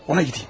Ona gedim.